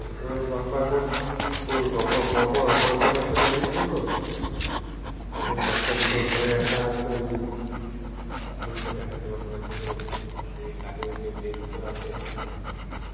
ও বাপ্পা এখন ওর পর পর operation আছে অনেকগুলো তো ওর বাচ্ছা দুটো ঘরে একা আছে ওই জন্যে ওকে দেখা শুনা করার জন্যে কাজের মেয়ে দুটো আছে